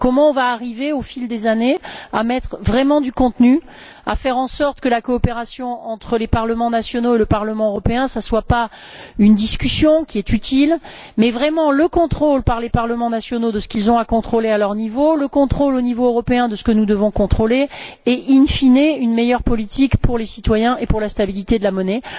Comment nous allons arriver, au fil des années, à mettre vraiment du contenu, à faire en sorte que la coopération entre les parlements nationaux et le Parlement européen ne soit pas une discussion, qui est utile, mais vraiment le contrôle par les parlements nationaux de ce qu'ils ont à contrôler, à leur niveau, et le contrôle, au niveau européen, de ce que nous devons contrôler et, in fine, une meilleure politique pour les citoyens et pour la stabilité de la monnaie.